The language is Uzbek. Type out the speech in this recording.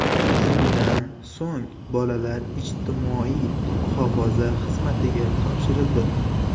Shundan so‘ng, bolalar ijtimoiy muhofaza xizmatiga topshirildi.